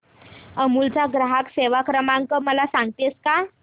अमूल चा ग्राहक सेवा क्रमांक मला सांगतेस का